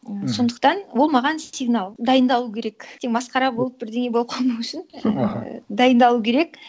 і сондықтан ол маған сигнал дайындалу керек ертең масқара болып бірдеңе болып қалмау үшін і дайындалу керек